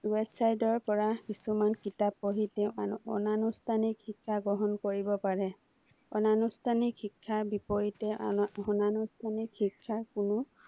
website ৰ পৰা কিছুমান কিতাপ পঢ়ি অনানুষ্ঠানিক শিক্ষা গ্ৰহণ কৰিব পাৰে। আনুষ্ঠানিক শিক্ষাৰ বিপৰীতে অনানুষ্ঠানিক শিক্ষাৰ কোনো